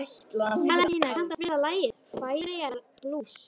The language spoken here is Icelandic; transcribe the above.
Valentína, kanntu að spila lagið „Færeyjablús“?